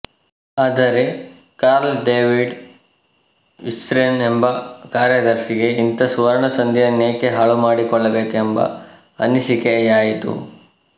ಆದರೆ Carl David Wirsen ಎಂಬ ಕಾರ್ಯದರ್ಶಿಗೆ ಇಂಥ ಸುವರ್ಣಸಂಧಿಯನ್ನೇಕೆ ಹಾಳುಮಾಡಿಕೊಳ್ಳಬೇಕೆಂಬ ಅನಿಸಿಕೆಯಾಯಿತು